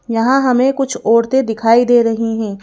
यहां हमें कुछ औरतें दिखाई दे रही हैं।